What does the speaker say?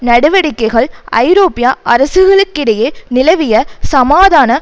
நடவடிக்கைகள் ஐரோப்பிய அரசுகளுக்கிடையே நிலவிய சமாதான